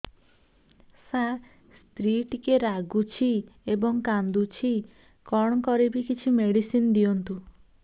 ସାର ସ୍ତ୍ରୀ ଟିକେ ରାଗୁଛି ଏବଂ କାନ୍ଦୁଛି କଣ କରିବି କିଛି ମେଡିସିନ ଦିଅନ୍ତୁ